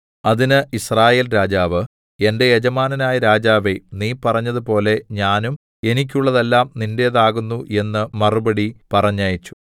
അതിന് യിസ്രായേൽ രാജാവ് എന്റെ യജമാനനായ രാജാവേ നീ പറഞ്ഞതുപോലെ ഞാനും എനിക്കുള്ളതെല്ലാം നിന്റേതാകുന്നു എന്ന് മറുപടി പറഞ്ഞയച്ചു